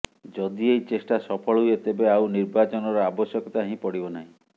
ଯଦି ଏହି ଚେଷ୍ଟା ସଫଳ ହୁଏ ତେବେ ଆଉ ନିର୍ବାଚନର ଆବଶ୍ୟକତା ହିଁ ପଡିବ ନାହିଁ